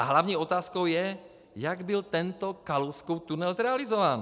A hlavní otázkou je, jak byl tento Kalouskův tunel zrealizován.